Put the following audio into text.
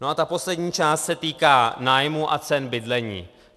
No a ta poslední část se týká nájmů a cen bydlení.